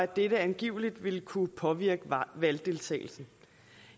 dette angiveligt vil kunne påvirke valgdeltagelsen